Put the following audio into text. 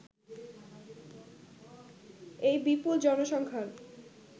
এই বিপুল জনসংখ্যার